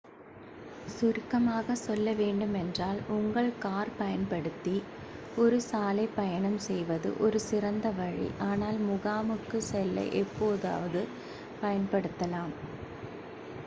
"சுருக்கமாக சொல்ல வேண்டுமென்றால் உங்கள் கார் பயன்படுத்தி ஒரு சாலை பயணம் செய்வது ஒரு சிறந்த வழி ஆனால் "முகாமுக்குச்" செல்ல எப்போதாவது பயன்படுத்தலாம்.